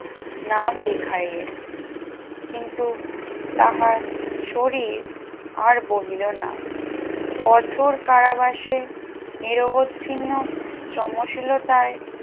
নাম লিখাইলেন কিন্তু তাহার শরীর আর বহিল না কোঠর কারাবাসে নিরুবচ্ছিন্ন শ্রমশীলতায়